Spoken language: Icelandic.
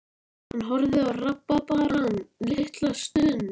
Hann horfði á rabarbarann litla stund.